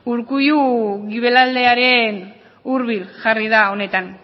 urkullu guibelaldearen hurbil jarri da honetan